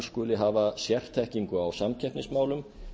skuli hafa sérþekkingu á samkeppnismálum